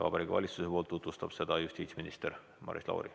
Vabariigi Valitsuse nimel tutvustab seda justiitsminister Maris Lauri.